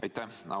Aitäh!